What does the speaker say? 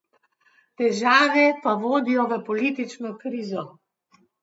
Težave pa vodijo v politično krizo.